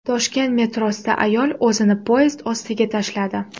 Toshkent metrosida ayol o‘zini poyezd ostiga tashladi.